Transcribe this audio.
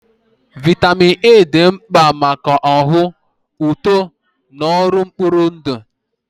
Vitamin A dị mkpa maka ọhụụ, uto, na ọrụ mkpụrụ ndụ.